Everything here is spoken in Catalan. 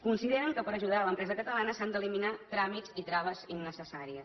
consideren que per ajudar l’empresa catalana s’han d’eliminar tràmits i traves innecessàries